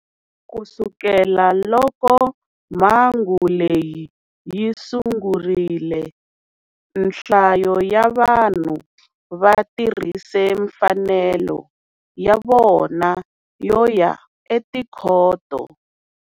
Ku sukela loko mhangu leyi yi sungurile, nhlayo ya vanhu va tirhise mfanelo ya vona yo ya etikhoto.